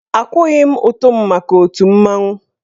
Akwụghị m ụtụ m maka otù mmanwụ.